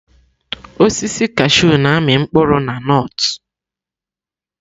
Osisi kashụ na-amị mkpụrụ na nọt.